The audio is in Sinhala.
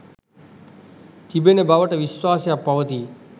තිබෙන බවට විශ්වාසයක් පවතී